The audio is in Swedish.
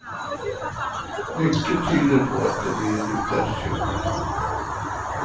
Mycket tyder på att det blir en utländsk köpare.